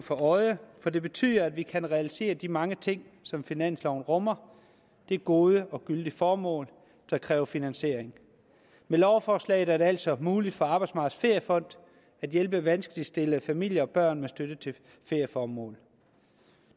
for øje for det betyder at vi kan realisere de mange ting som finansloven rummer det er gode og gyldige formål der kræver finansiering med lovforslaget er det altså muligt for arbejdsmarkedets feriefond at hjælpe vanskeligt stillede familier og børn med støtte til ferieformål